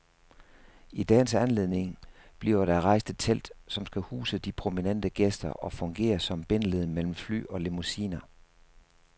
I dagens anledning bliver der rejst et telt, som skal huse de prominente gæster og fungere som bindeled mellem fly og limousiner.